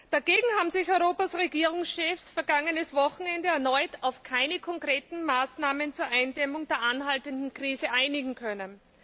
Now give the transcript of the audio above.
Dagegen haben sich Europas Regierungschefs vergangenes Wochenende erneut nicht auf konkrete Maßnahmen zur Eindämmung der anhaltenden Krise einigen können.